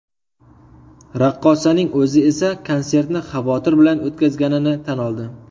Raqqosaning o‘zi esa konsertni xavotir bilan o‘tkazganini tan oldi.